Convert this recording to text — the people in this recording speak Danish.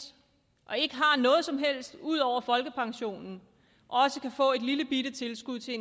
og ikke har noget som helst ud over folkepensionen også kan få et lillebitte tilskud til